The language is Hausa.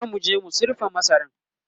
zamuje mu sirfa masaran